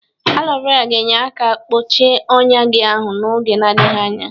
Alo vera ga-enye aka kpọche ọnya gi ahụ n'oge na-adịghị anya.